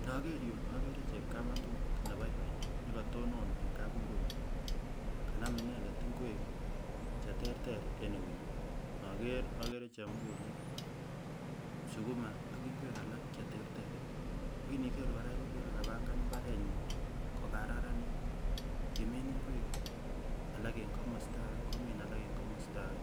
Inoker yu akere chepkametut nebaibai nekotonon en kapungunyik kanam inendet ngwek cheterter en eunyin, inoker akere chemukuliet, sukuma ak ngwek alak cheterter, akiniker kora iker ile kapangan mbarenyi kokararanit kimin ngwek alak en komosta ake, komin alak en komosta ake,